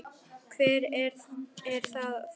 Hvað er það þá?